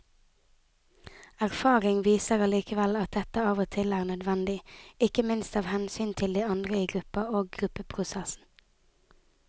Erfaring viser allikevel at dette av og til er nødvendig, ikke minst av hensyn til de andre i gruppa og gruppeprosessen.